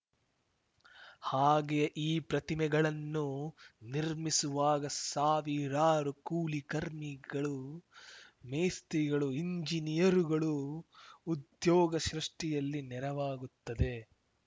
ಹಾಗೆಯೇ ಈ ಪ್ರತಿಮೆಗಳನ್ನು ನಿರ್ಮಿಸುವಾಗ ಸಾವಿರಾರು ಕೂಲಿ ಕರ್ಮಿಗಳು ಮೇಸ್ತ್ರಿಗಳು ಇಂಜಿನಿಯರುಗಳು ಉದ್ಯೋಗ ಸೃಷ್ಟಿಯಲ್ಲಿ ನೆರವಾಗುತ್ತದೆ